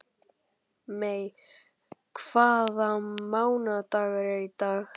Mey, hvaða mánaðardagur er í dag?